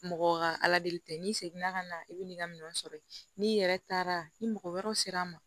Mɔgɔ ka ala de tɛ n'i seginna ka na i bi nin ka minɛn sɔrɔ yen n'i yɛrɛ taara ni mɔgɔ wɛrɛw sera n ma